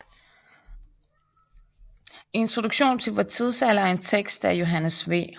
Introduktion til vor Tidsalder er en tekst af Johannes V